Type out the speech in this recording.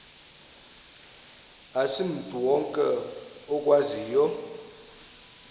asimntu wonke okwaziyo